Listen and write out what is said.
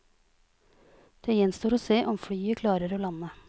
Det gjenstår å se om flyet klarer å lande.